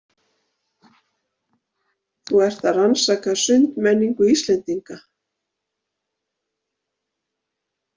Þú ert að rannsaka sundmenningu Íslendinga?